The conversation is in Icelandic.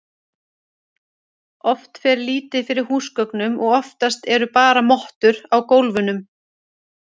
Oft fer lítið fyrir húsgögnum og oftast eru bara mottur á gólfunum.